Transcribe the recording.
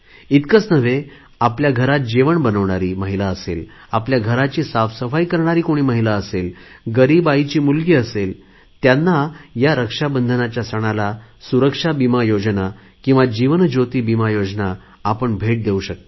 इतकेच नव्हे तर आपल्या घरात जेवण बनवणारी महिला असेल आपल्या घराची साफसफाई करणारी कोणी महिला असेल गरीब आईची मुलगी असेल त्यांना या रक्षाबंधनाच्या सणाला सुरक्षा विमा योजना किंवा जीवन ज्योती विमा योजना आपण भेट देऊ शकता